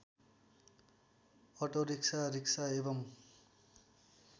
auto rickshaw rickshaw एवं